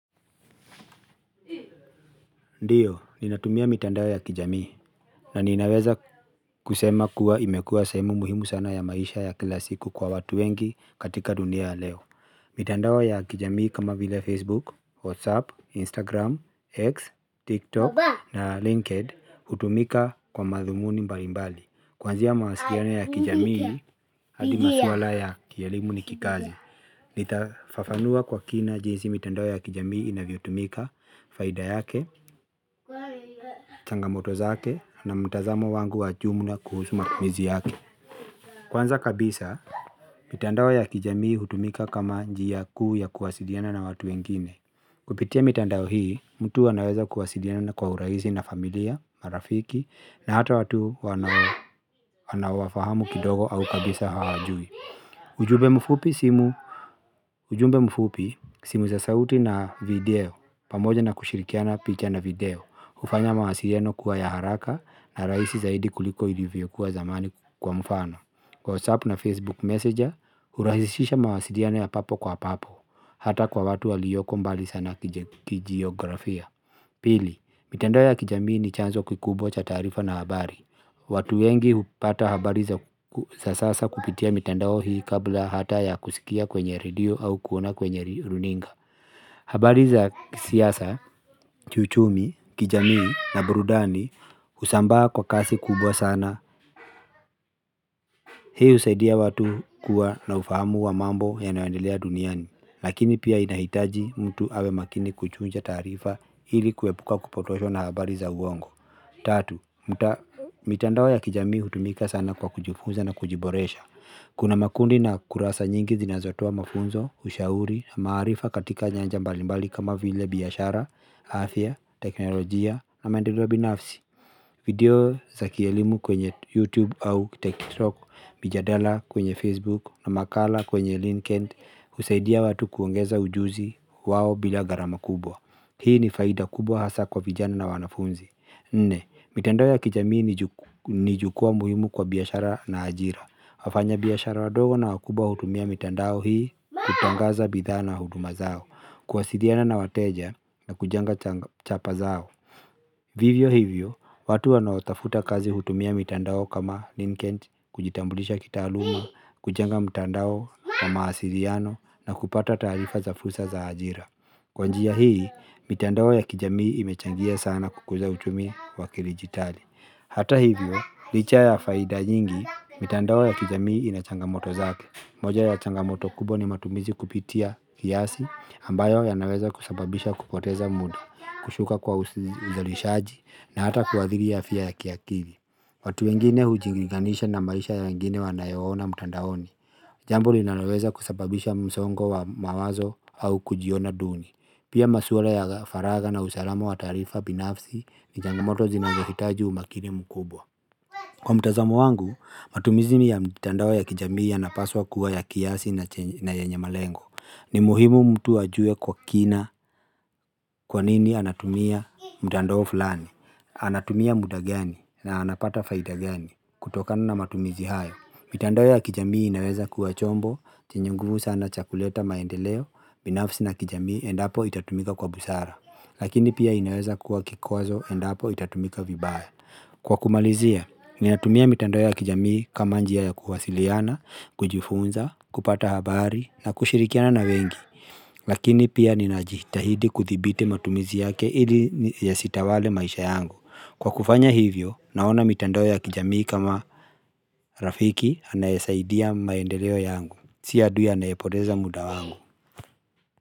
Ndio, ninatumia mitandao ya kijamii na ninaweza kusema kuwa imekua sehemu muhimu sana ya maisha ya kila siku kwa watu wengi katika dunia ya leo. Mitandao ya kijamii kama vile Facebook, Whatsapp, Instagram, X, TikTok na LinkedIn hutumika kwa madhumuni mbalimbali. Kwa njia ya mawasiliano ya kijamii, hadi maswala ya kielimu ni kikazi. Nitafafanua kwa kina jinsi mitandao ya kijamii inavyotumika, faida yake, changamoto zake na mtazamo wangu wa jumla kuhusu matumizi yake. Kwanza kabisa, mitandao ya kijamii hutumika kama njia kuu ya kuwasiliana na watu wengine. Kupitia mitandao hii, mtu anaweza kuwasilina kwa urahisi na familia, marafiki na hata watu wana anaowafahamu kidogo au kabisa hawajui. Ujumbe mfupi simu za sauti na video, pamoja na kushirikiana picha na video, hufanya mawasiliano kuwa ya haraka na rahisi zaidi kuliko ilivyo kuwa zamani kwa mfano. Kwa WhatsApp na Facebook Messenger, hurahisisha mawasiliano ya papo kwa papo, hata kwa watu walioko mbali sana kijiografia. Pili, mitandao ya kijamii ni chanzo kikubwa cha taarifa na habari. Watu wengi hupata habari za sasa kupitia mitandao hii kabla hata ya kusikia kwenye radio au kuona kwenye runinga. Habari za siasa, uchumi, kijamii na burudani husambaa kwa kasi kubwa sana. Hii husaidia watu kuwa na ufahamu wa mambo yanayo endelea duniani. Lakini pia inahitaji mtu awe makini kuchuja taarifa hili kuepuka kupotoshwa na habari za uongo. Tatu, mitandao ya kijami hutumika sana kwa kujifunza na kujiboresha. Kuna makundi na kurasa nyingi zinazotoa mafunzo, ushauri na maarifa katika nyanja mbalimbali kama vile biashara, afya, teknolojia na maendeleo binafsi. Video za kielimu kwenye YouTube au TikTok, mijadala kwenye Facebook na makala kwenye LinkedIn husaidia watu kuongeza ujuzi wao bila garama kubwa. Hii ni faida kubwa hasa kwa vijana na wanafunzi. Nne, mitandao ya kijamii ni jukwaa muhimu kwa biashara na ajira. Wafanya biashara wadogo na wakubwa hutumia mitandao hii kutangaza bidhana huduma zao, kwasiliana na wateja na kujenga chapa zao. Vivyo hivyo, watu wanao tafuta kazi hutumia mitandao kama Linkedin, kujitambulisha kitaaluma, kujenga mitandao wa mawasiliano na kupata taarifa za fursa za ajira. Kwa njia hii, mitandao ya kijamii imechangia sana kukuza hutumia wakili jitali. Hata hivyo, licha ya faida nyingi, mitandao ya kijamii inachangamoto zake. Moja ya changamoto kubwa ni matumizi kupitia kiasi ambayo yana weza kusababisha kupoteza muda, kushuka kwa uzalishaji na hata kuwadhiri afya ya kiakili. Watu wengine hujilinganisha na maisha ya wengine wanayo ona mtandaoni. Jambo linaloweza kusababisha msongo wa mawazo au kujiona duni. Pia maswala ya faragha na usalama wa taarifa binafsi ni changamoto zinazo hitaji umakini mkubwa. Kwa mtazamo wangu, matumizi ni ya mtandao ya kijamii ya napaswa kuwa ya kiasi na yenye malengo. Ni muhimu mtu ajue kwa kina kwa nini anatumia mtandao fulani. Anatumia muda gani na anapata faida gani kutokana na matumizi hayo. Mitandao ya kijamii inaweza kuwa chombo, chenye nguvu sana cha kuleta maendeleo, binafsi na kijamii endapo itatumika kwa busara. Lakini pia inaweza kuwa kikwazo endapo itatumika vibaya. Kwa kumalizia, minatumia mitandao ya kijamii kama njia ya kuwasiliana, kujifunza, kupata habari na kushirikiana na wengi. Lakini pia ninajita hidi kudhibiti matumizi yake ili yasitawale maisha yangu. Kwa kufanya hivyo, naona mitandao ya kijamii kama rafiki anayesaidia maendeleo yangu. Si adui anaepoteza muda wangu.